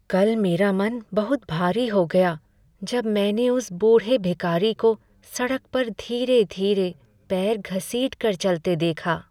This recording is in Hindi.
कल मेरा मन बहुत भारी हो गया जब मैंने उस बूढ़े भिखारी को सड़क पर धीरे धीरे पैर घसीट कर चलते देखा।